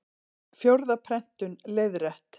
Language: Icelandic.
Fjórða prentun, leiðrétt.